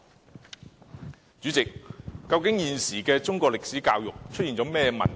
代理主席，現時中史教育出現甚麼問題？